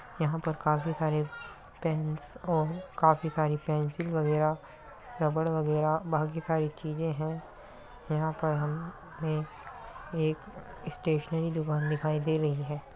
यहाँ पर काफी सारे पेंस और काफी सारी पेन्सिल वगैरह रबर वगैरह बाकी सारी चीजें है। यहाँ पर हमें एक स्टेशनरी दुकान दिखाई दे रही है।